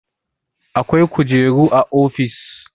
Akwai kujeru a ofis.